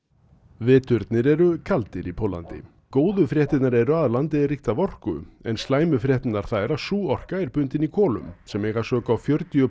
veturnir eru kaldir í Póllandi góðu fréttirnar eru að landið er ríkt af orku en slæmu fréttirnar þær að sú orka er bundin í kolum sem eiga sök á fjörutíu